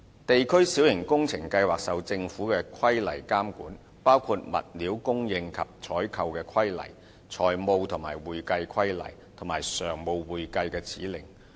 地區小型工程計劃受到政府的規例監管，包括《物料供應及採購規例》、《財務及會計規例》和《常務會計指令》。